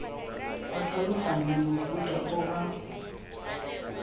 ba tlhaloganye mofuta o ba